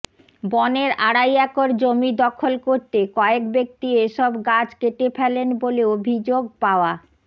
বনের আড়াই একর জমি দখল করতে কয়েক ব্যক্তি এসব গাছ কেটে ফেলেন বলে অভিযোগ পাওয়া